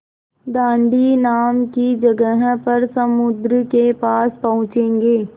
दाँडी नाम की जगह पर समुद्र के पास पहुँचेंगे